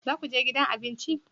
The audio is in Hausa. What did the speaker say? Za ku je gidan abinci?